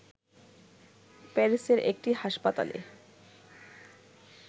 প্যারিসের একটি হাসপাতালে